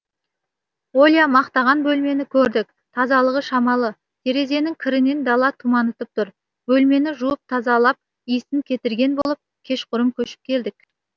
оля мақтаған бөлмені көрдік тазалығы шамалы терезенің кірінен дала тұманытып тұр бөлмені жуып тазалап иісін кетірген болып кешқұрым көшіп келдік